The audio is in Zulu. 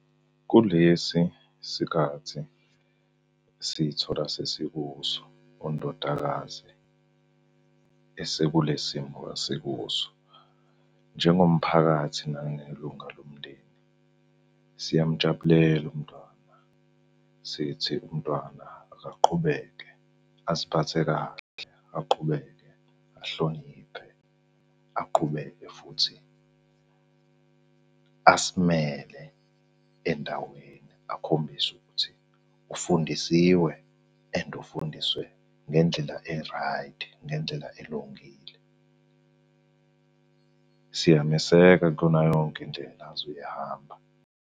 Kulesi sikhathi sithola sesikuso, undodakazi esekule simo esekuso. Njengomphakathi nangelunga lomndeni, siyamujabulela umntwana sithi umntwana akaqhubeke aziphathe kahle, aqhubeke ahloniphe, aqhubeke futhi asimele endaweni. Akhombise ukuthi ufundisiwe and ufundiswe ngendlela eraydi, ngendlela elungile. Siyameseka kuyona yonke indlela azoyihamba.